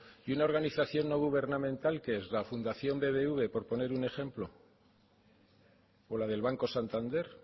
y una organización no gubernamental qué es la fundación bbv por poner un ejemplo o la del banco santander